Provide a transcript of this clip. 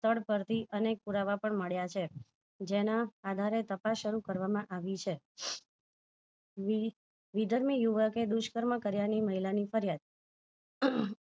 સ્થળ પરથી અનેક પુરાવા પણ મળ્યા છે જેના આધારે તપાસ શરુ કરવામાં આવી છે વિધર યુવકે દુષ કર્મ કર્યા ની મહિલા ની ફરિયાદ